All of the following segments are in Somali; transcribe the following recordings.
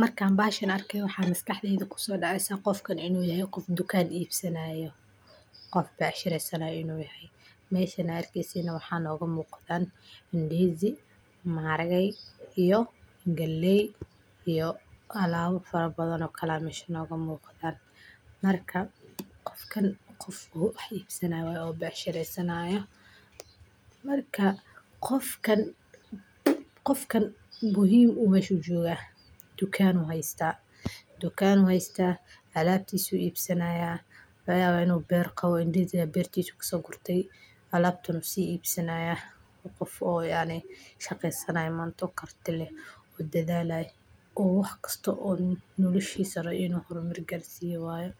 Markan baxashan arkey waxan miskaxdeyda kusodaceysa, sidha gofkan inu yaxay gof dukan ibsanayo, gof becshireysanayo inu yaxay, meshan aa arkeysinax waxa nogamuqda ndizi ama maxarage iyo galeey, iyo alaba farabadan oo kale mesha nogamuqda, marka gofkan gof oo wax ibsanayo oo becshireysanayo, marka gofkan, gofkan muxiim uu mesh ujoga, dukan u xaysta, dukan u xaysta, alabtisu ibsanaya, lagayawa inu ber qawo uu ndizi uu bertos kasogurtee, alabtan u sii ibsanaya, gof oo yacni shageysanay oo mant karti leh, oo dadalay oo waxkasta oo noloshisa ini hormar qarsiyo rawo waye,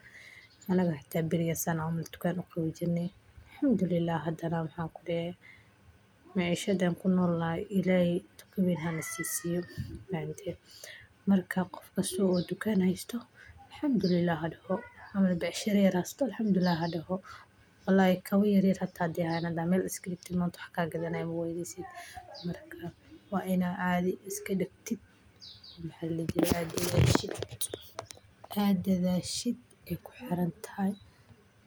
anaga xita barigas san camal tudan u gawi jirne, alhamdullilah xadanah maxay kudexe macishad an kunolnaxay illahey tu kawen hanasisiyo mafahamte, marka gof asago tukan xaysto alhamdulillah xadoxo, ama becshira yar xaysto alhamdullilah xadoxo, walahi kawaa yaryar xata ay axadan xata mel iskadigtid manta wax kagadanayo mawayneysid, marka wa ina cadii isladigtit, maxa ladizi jiree aad dadasid, illahey nah aad kuxirantaxay,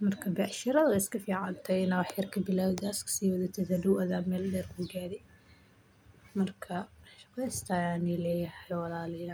marka becshirada way iskaficantaxay, ina wax yar kabilawda aad iskasiweyneysa xadhow adha meel derr kugarii, marka shageysta ayan nileyaxa walalayal.